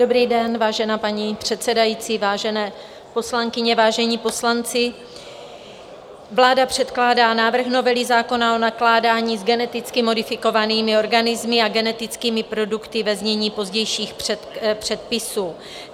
Dobrý den, vážená paní předsedající, vážené poslankyně, vážení poslanci, vláda předkládá návrh novely zákona o nakládání s geneticky modifikovanými organismy a genetickými produkty, ve znění pozdějších předpisů.